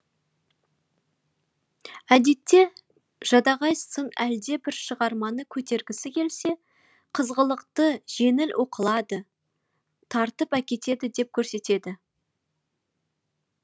әдетте жадағай сын әлдебір шығарманы көтергісі келсе қызғылықты жеңіл оқылады тартып әкетеді деп көрсетеді